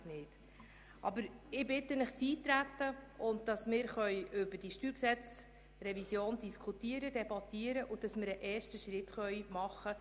Ich bitte Sie, in die Debatte einzutreten, damit wir über die StG-Revision diskutieren und einen ersten Schritt machen können.